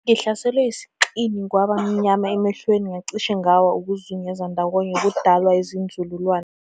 Ngihlaselwe isinxi kwaba mnyama emehlweni ngacishe ngawa. ukuzungeza ndawonye kudala inzululwane